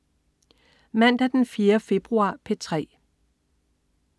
Mandag den 4. februar - P3: